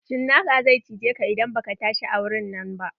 Cinaka zai cijeka idan baka tashi a wurin nan ba.